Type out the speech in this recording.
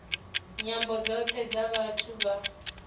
nyambo dzothe dza vhathu vha